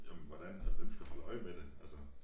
Jamen hvordan havde hvem skal holde øje med dem altså